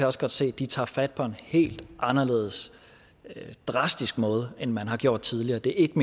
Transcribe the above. også godt se at de tager fat på en helt anderledes og drastisk måde end man har gjort tidligere det er ikke